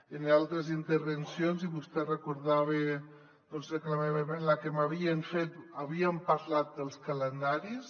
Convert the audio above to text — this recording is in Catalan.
en altres intervencions i vostè recordava la que m’havien fet havíem parlat dels calendaris